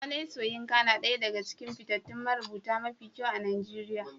Wole Soyinka nada ɗaya daga cikin fitattun marubuta mafi kyau a Najeriya